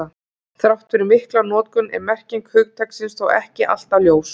Þrátt fyrir mikla notkun er merking hugtaksins þó ekki alltaf ljós.